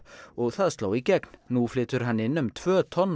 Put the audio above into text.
og það sló í gegn nú flytur hann inn um tvö tonn